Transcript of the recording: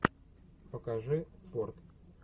покажи спорт